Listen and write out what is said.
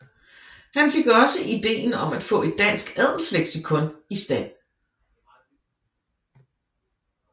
Han fik også ideen om at få et dansk adelsleksikon i stand